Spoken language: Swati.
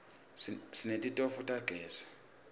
sinetitofu tagezi